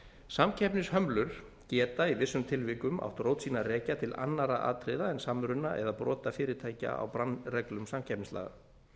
samkeppnishömlur geta í vissum tilvikum átt rót sína að rekja til annarra atriða en samruna eða brota fyrirtækja á bannreglum samkeppnislaga